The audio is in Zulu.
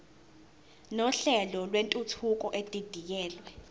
nohlelo lwentuthuko edidiyelwe